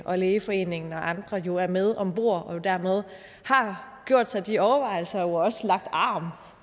hvor lægeforeningen og andre jo er med om bord så man dermed har gjort sig de overvejelser og jo også lagt arm